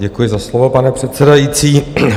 Děkuji za slovo, pane předsedající.